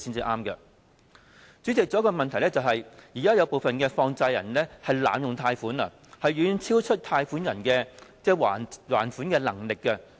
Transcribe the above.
代理主席，另一個問題是現時部分放債人濫發貸款，遠遠超出借款人的還款能力。